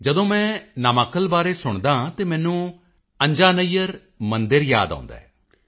ਜਦੋਂ ਮੈਂ ਨਾਮਾਕਲ ਬਾਰੇ ਸੁਣਦਾ ਹਾਂ ਤਾਂ ਮੈਨੂੰ ਅੰਜਾਨੱਯਰ ਮੰਦਿਰ ਯਾਦ ਆਉਦਾ ਹੈ